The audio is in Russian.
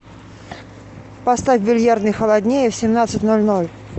поставь в бильярдной холоднее в семнадцать ноль ноль